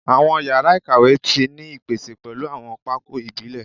Awọn yara ikawe ti ni ipese pẹlu awọn pákó ibile